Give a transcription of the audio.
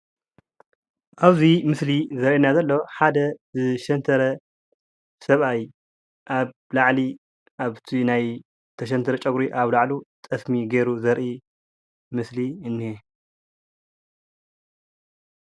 ኣብዚ ምስሊ ዘርአየና ዘሎ ሓደ ዝሸንተረ ሰብኣይ ኣብ ላዕሊ ኣብቲ ዝተሸንተረ ፀጉሪ ኣበ ላዕሉ ጠስሚ ገይሩ ዘርኢ ምስሊ እንአ፡፡